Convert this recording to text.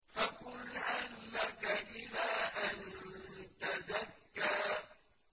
فَقُلْ هَل لَّكَ إِلَىٰ أَن تَزَكَّىٰ